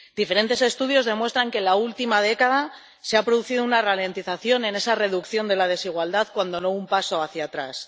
Diferentes estudios demuestran que en la última década se ha producido una ralentización en esa reducción de la desigualdad, cuando no un paso hacia atrás.